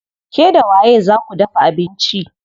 Ke da waye zaa ku dafa abinci?